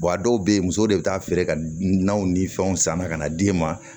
a dɔw bɛ yen musow de bɛ taa feere ka naw ni fɛnw san ka na d'e ma